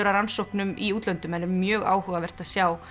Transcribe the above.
rannsóknum í útlöndum mjög áhugavert að sjá